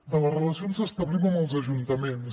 de les relacions que establim amb els ajuntaments